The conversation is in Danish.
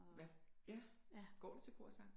Hvad ja går du til korsang